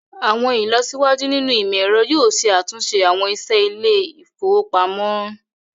Awọn ilọsiwaju nínu imọ̀-ẹ̀rọ̀ yoo ṣẹ̀ àtunṣe awọn iṣẹ ilẹ̀-ifowopamọ̀.